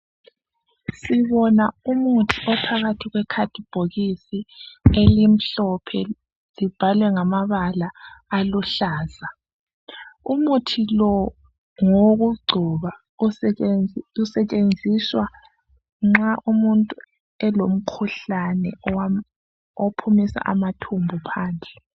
Sibona umuthi ophakathi kwekhadibhokisi elimhlophe libhalwe ngamabala aluhlaza. Umuthi lo ngowokugcoba usetshenziswa nxa umuntu elomkhuhlane okhipha amathumbu phandle